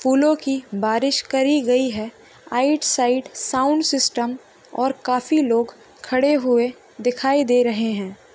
फूलों की बारिश करी गई है राइट साइड साउंड सिस्टम और काफी लोग खड़े हुए दिखाई दे रहे हैं।